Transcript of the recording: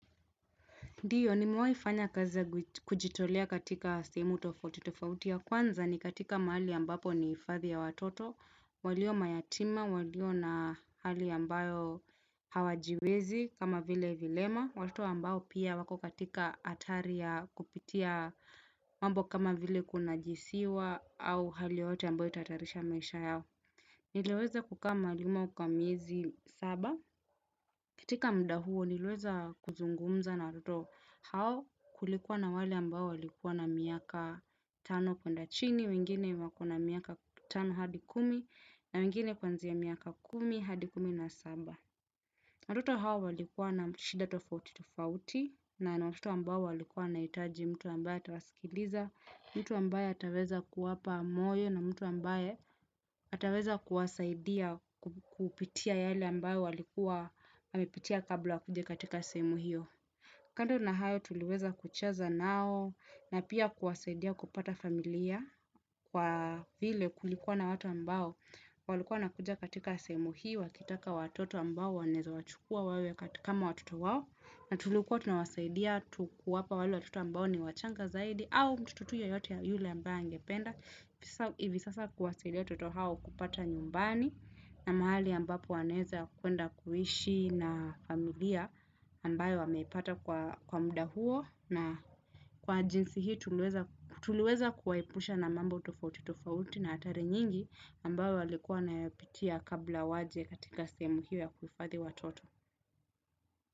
Ndiyo nimewahi fanya kazi ya kujitolea katika sehemu tofauti tofauti. Ya kwanza ni katika mahali ambapo ni hifadhi ya watoto. Walio mayatima, walio na hali ambayo hawajiwezi kama vile vilema. Watoto ambao pia wako katika hatari ya kupitia mambo kama vile kunajisiwa au hali yoyote ambayo itahatarisha maisha yao. Niliweza kukaama malimo kwa miezi saba. Katika mda huo niliweza kuzungumza na watoto hao, kulikuwa na wale ambao walikuwa na miaka tano kwenda chini, wengine wako na miaka tano hadi kumi na wengine kuanzia miaka kumi hadi kumi na saba. Watoto hao walikuwa na shida tofauti tofauti, na ni watoto ambao walikuwa wanahitaji mtu ambaye atawaskiliza, mtu ambaye ataweza kuwapa moyo na mtu ambaye ataweza kuwasaidia. Kupitia yale ambayo walikuwa amepitia kabla wakuje katika sehemu hio. Kando na hayo tuliweza kuchaza nao na pia kuwasaidia kupata familia kwa vile kulikuwa na watu ambao walikuwa wanakuja katika sehemu hiyo wakitaka watoto ambao wanaweza wachukua wawe kama watoto wao na tulikuwa tunawasaidia tu kuwapa wale watoto ambao ni wachanga zaidi au mtu tu yeyote yule ambaye angependa. Hivi sasa kuwasidia watoto hao kupata nyumbani na mahali ambapo wanaweza kuenda kuishi na familia ambayo wamepata kwa mda huo na kwa jinsi hii tuliweza tuliweza kuwaepusha na mambo tofauti-tofauti na hatari nyingi ambayo walikuwa wanayapitia kabla waje katika sehemu hiyo ya kuhifadhi watoto.